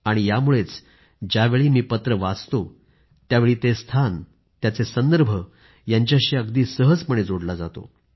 आणि यामुळेच ज्यावेळी मी पत्र वाचतो त्यावेळी ते स्थान आणि त्याचे संदर्भ यांच्याशी अगदी सहजपणे जोडले जातो